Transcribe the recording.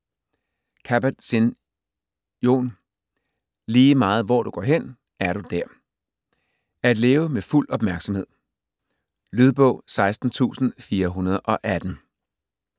Kabat-Zinn, Jon: Lige meget hvor du går hen, er du der: at leve med fuld opmærksomhed Lydbog 16418